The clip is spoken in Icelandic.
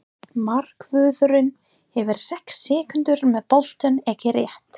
Markvörðurinn hefur sex sekúndur með boltann, ekki rétt?